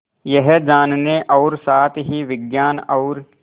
यह जानने और साथ ही विज्ञान और